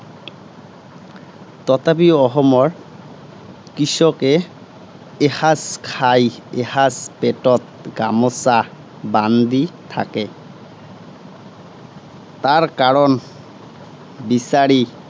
তথাপিও অসমৰ কৃষকে এসাঁজ খাই, এসাঁজ পেটত গামােচা বান্ধি থাকে। তাৰ কাৰণ বিচাৰি